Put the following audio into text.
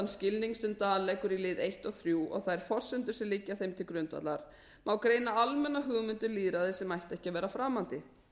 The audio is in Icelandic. skilning sem dahl leggur í liði og og þær forsendur sem liggja þeim til grundvallar má greina almenna hugmynd um lýðræði sem ætti ekki að vera framandi